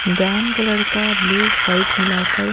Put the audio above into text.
brown colour का blue white मिलाकर--